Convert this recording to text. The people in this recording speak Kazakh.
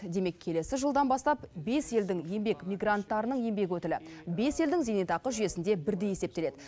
демек келесі жылдан бастап бес елдің еңбек мигранттарының еңбек өтілі бес елдің зейнетақы жүйесінде бірдей есептеледі